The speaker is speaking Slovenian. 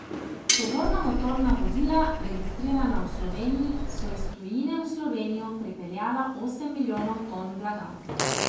Tovorna motorna vozila, registrirana v Sloveniji, so iz tujine v Slovenijo prepeljala osem milijonov ton blaga.